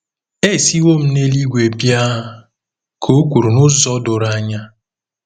“Esiwo m n’eluigwe bịa ,” ka o kwuru n’ụzọ doro anya.